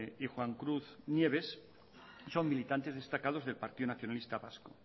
y juan cruz nieves son militantes destacados del partido nacionalista vasco